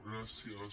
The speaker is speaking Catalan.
gràcies